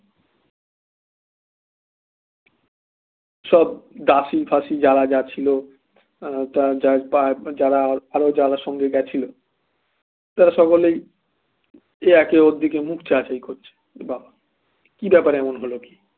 সব দাসি ফাঁসি যারা যাচ্ছিল আহ যারা সঙ্গে গেছিল তারা সকলেই একে ওর দিকে মুখ চাওয়াচাই করছে বা কি ব্যাপার এমন হলো কি